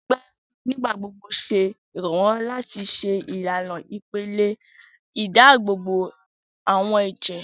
Gbígbà ewúro nigbagbogbo ṣe iranlọwọ láti ṣe ìlànà ìpele ìdáàbòbò awọ ẹjẹ